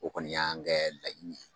O kɔni y'an kɛ laɲini ye